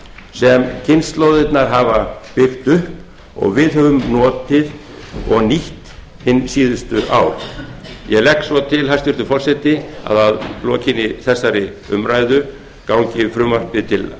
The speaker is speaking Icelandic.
sem kynslóðirnar hafa byggt upp og við höfum notið og nýtt hin síðustu ár ég legg svo til hæstvirtur forseti að frumvarpið gangi til